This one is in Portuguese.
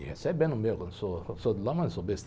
E recebendo o meu, que eu sou, que sou de lá, mas não sou besta.